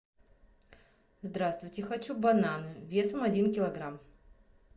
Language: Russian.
здравствуйте хочу бананы весом один килограмм